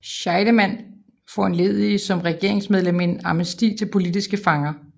Scheidemann foranledigede som regeringsmedlem en amnesti til politiske fanger